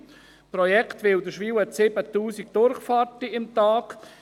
Beim Projekt Wilderswil spricht man von 7000 Durchfahrten pro Tag.